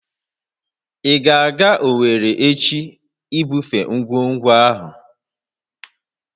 Ị ga-aga Owerri echi ibufe ngwugwu ahụ!